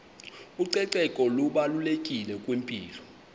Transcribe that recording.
ucoceko lubalulekile kwimpilo